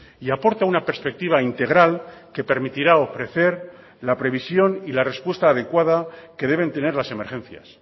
y aporta una perspectiva integral que permitirá ofrecer la previsión y la respuesta adecuada que deben tener las emergencias